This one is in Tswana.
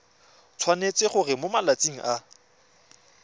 tshwanetse gore mo malatsing a